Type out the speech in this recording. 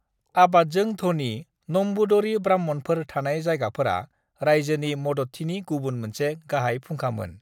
आबादजों ध'नि नम्बूदरी-ब्राह्मणफोर थानाय जायगाफोरा रायजोनि मददथिनि गुबुन मोनसे गाहाय फुंखामोन।